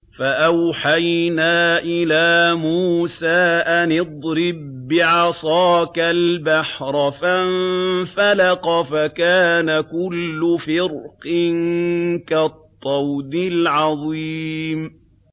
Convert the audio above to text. فَأَوْحَيْنَا إِلَىٰ مُوسَىٰ أَنِ اضْرِب بِّعَصَاكَ الْبَحْرَ ۖ فَانفَلَقَ فَكَانَ كُلُّ فِرْقٍ كَالطَّوْدِ الْعَظِيمِ